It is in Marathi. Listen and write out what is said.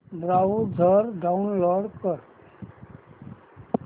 ब्राऊझर डाऊनलोड कर